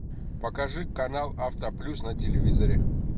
покажи канал автоплюс на телевизоре